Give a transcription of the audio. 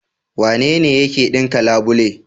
Wanene yake ɗinka labule?